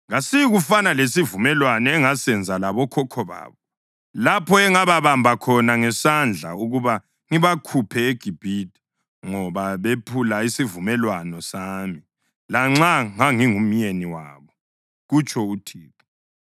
“Kasiyikufana lesivumelwano engasenza labokhokho babo lapho engababamba khona ngesandla ukuba ngibakhuphe eGibhithe, ngoba bephula isivumelwano sami, lanxa ngangingumyeni wabo,” kutsho uThixo.